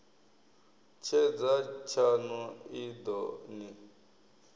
tshedza tshaṋu i ḓo ni